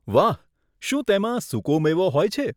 વાહ, શું તેમાં સુકો મેવો હોય છે?